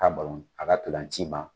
a ka ntolanc'i ma